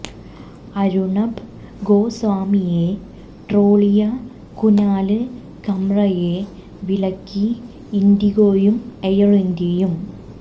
അര്ണബ് ഗോസ്വാമിയെ ട്രോളിയ കുനാല് കംറയെ വിലക്കി ഇന്ഡിഗോയും എയര് ഇന്ത്യയും